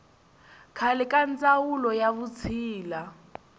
khale ka ndzawulo ya vutshila